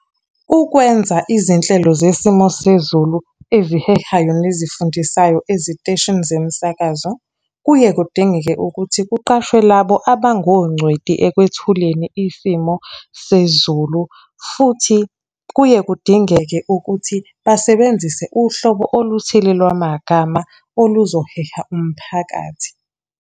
Ukwenza izinhlelo zesimo sezulu ezihehayo nezifundisayo eziteshini zemisakazo, kuye kudingeke ukuthi kuqashwe labo abangongcweti ekwethuleni isimo sezulu futhi kuye kudingeke ukuthi basebenzise uhlobo oluthile lwamagama oluzoheha umphakathi.